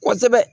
Kosɛbɛ